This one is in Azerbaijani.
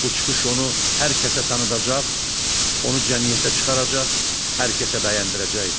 Bu çıxış onu hər kəsə tanıdacaq, onu cəmiyyətə çıxaracaq, hər kəsə bəyəndirəcəkdi.